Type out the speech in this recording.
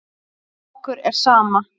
Okkur er sama.